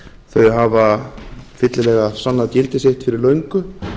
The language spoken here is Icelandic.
þau hafa fyllilega sannað gildi sitt fyrir löngu